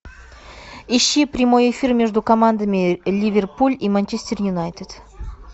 ищи прямой эфир между командами ливерпуль и манчестер юнайтед